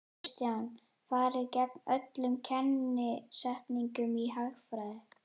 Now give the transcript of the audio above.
Kristján: Farið gegn öllum kennisetningum í hagfræði?